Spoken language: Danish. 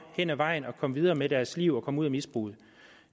hen ad vejen at komme videre med deres liv og at komme ud af misbruget